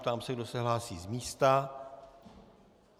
Ptám se, kdo se hlásí z místa.